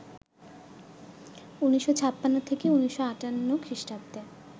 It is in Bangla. ১৯৫৬ থেকে ১৯৫৮ খ্রিষ্টাব্দে